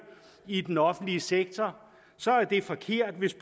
i den offentlige sektor så er det forkert hvis